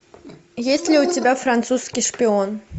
есть ли у тебя французский шпион